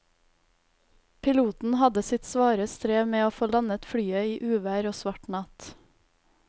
Piloten hadde sitt svare strev med å få landet flyet i uvær og svart natt.